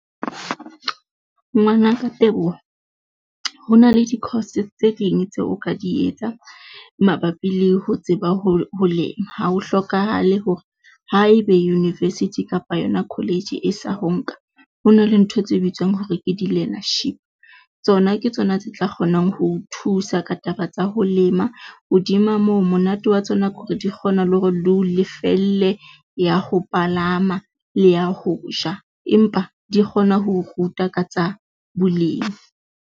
Ngwanaka Teboho, ho na le di-course tse ding tseo o ka di etsa mabapi le ho tseba ho lema ha ho hlokahale hore haebe university kapa yona college e sa ho nka, ho na le ntho tse bitswang hore ke di-learnership. Tsona ke tsona tse tla kgonang ho o thusa ka taba tsa ho lema hodima moo monate wa tsona ke hore di kgona le hore di o lefelle ya ho palama le ya ho ja empa di kgona ho ruta ka tsa bolemi.